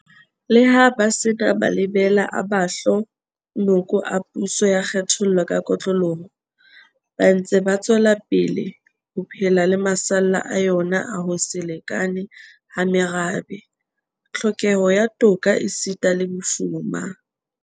Leha ba se na malebela a mahlo noko a puso ya kgethollo ka kotloloho, ba ntse ba tswelapele ho phela le masalla a yona a ho se lekane ha merabe, tlhokeho ya toka esita le bofuma.